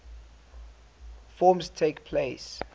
forms takes place